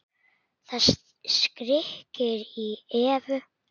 Það skríkir í Evu.